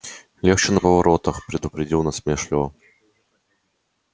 легче на поворотах предупредил насмешливо